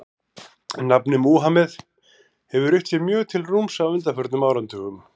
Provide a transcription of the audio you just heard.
Nafnið Múhameð hefur rutt sér mjög til rúms á undanförnum áratugum.